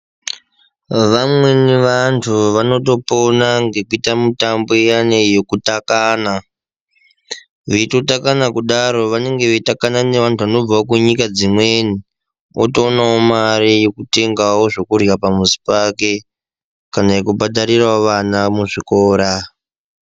Vamweni vantu vanotopona ngekuita mitambo yani yekutakana ,beyitotakana kudaro vanenge beyitakana nevantu vanobva kunyika dzimweni otowonawo mari yekutengawo zvekudya pamuzi pake kana yekubhadharira ana kuzvikora.